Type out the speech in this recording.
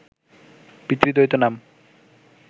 পিতৃদয়িত নামক